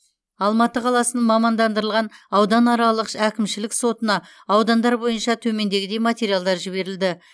алматы қаласының мамандандырылған ауданаралық әкімшілік сотына аудандар бойынша төмендегідей материалдар жіберілді